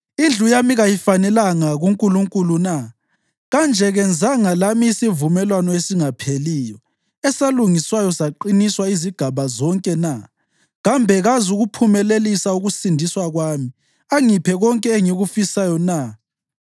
Indlu yami kayifanelanga kuNkulunkulu na? Kanje kenzanga lami isivumelwano esingapheliyo esalungiswayo saqiniswa izigaba zonke na? Kambe kazukuphumelelisa ukusindiswa kwami angiphe konke engikufisayo na?